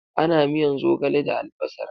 Ana miyan zogale da albasar.